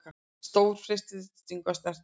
Stóðst freistinguna að snerta hann